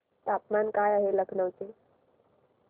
तापमान काय आहे लखनौ चे